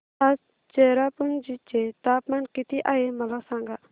आज चेरापुंजी चे तापमान किती आहे मला सांगा